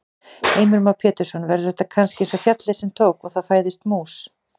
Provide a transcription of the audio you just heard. Heimir Már Pétursson: Verður þetta kannski eins og fjallið sem tók. og það fæðist mús?